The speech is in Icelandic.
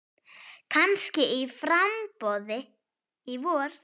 Kannski í framboð í vor.